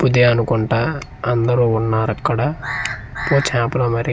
పుదే అనుకుంటా అందరూ ఉన్నారక్కడ పుచాపలమరి--